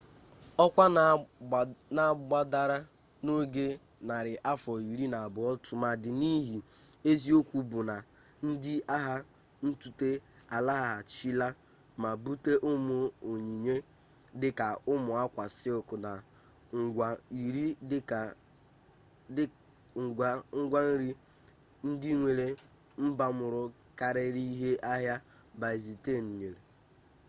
ọkwa na gbadara n'oge narị afọ iri na abụọ tụmadị n'ihi eziokwu bụ na ndị agha ntute alaghachila ma bute ụmụ onyinye dị ka ụmụ akwa sịlk na ngwa nri ndị nwere mbamuru karịrị ihe ahịa byzantine nyere